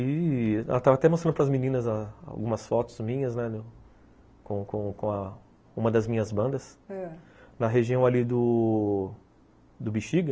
E... eu estava até mostrando para as meninas a algumas fotos minhas com com uma das minhas bandas, ãh, na região ali do Bixiga.